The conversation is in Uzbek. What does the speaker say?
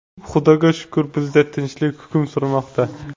Xudoga shukr, bizda tinchlik hukm surmoqda.